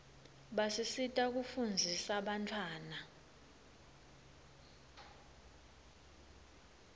basisita kufunzisa bantfwana